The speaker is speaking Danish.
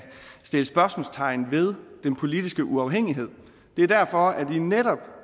sættes spørgsmålstegn ved den politiske uafhængighed det er derfor at vi netop